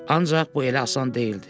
Ancaq bu elə asan deyildi.